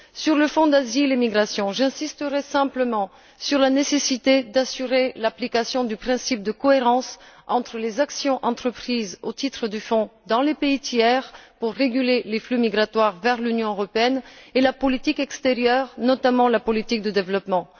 À propos du Fonds Asile et migration, j'insisterai simplement sur la nécessité d'assurer l'application du principe de cohérence entre les actions entreprises au titre du fonds dans les pays tiers pour réguler les flux migratoires vers l'Union et la politique extérieure, notamment la politique de développement.